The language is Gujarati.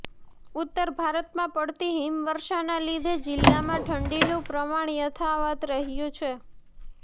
ઉત્તર ભારતમાં પડતી હિમવર્ષાના લીધે જિલ્લામાં ઠંડીનંુ પ્રમાણ યાથાવત રહ્યું છે